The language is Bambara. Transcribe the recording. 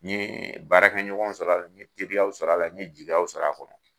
N ye baarakɛ ɲɔgɔnw sɔrɔ ala, n ye teriyaw sɔrɔ a la, n ye jigiyaw sɔrɔ a kɔnɔ.